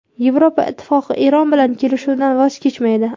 Yevropa Ittifoqi Eron bilan kelishuvdan voz kechmaydi.